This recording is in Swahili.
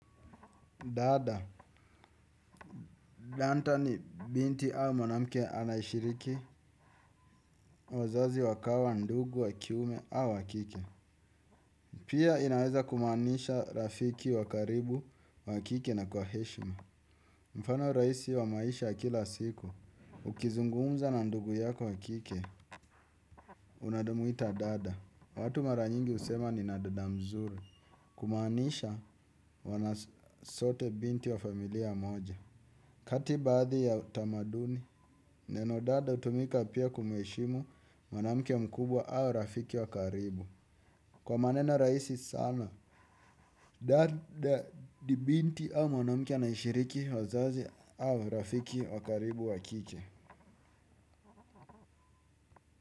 Dada, lanta ni binti au mwanamke anaeshiriki, wazazi wakawa ndugu wa kiume au wakike. Pia, inaweza kumanisha rafiki wa karibu, wa kike na kwa heshima. Mfano raisi wa maisha ya kila siku, ukizungumza na ndugu yako wa kike, unadumuita dada. Watu mara nyingi husema nina duda mzuri. Kumanisha, wanasote binti wa familia moja. Kati baadhi ya tamaduni, neno dada utumika pia kumheshimu mwanamke mkubwa au rafiki wakaribu. Kwa maneno raisi sana, dada di binti, au mwanamke anaeshiriki wazazi, au rafiki wakaribu wakike.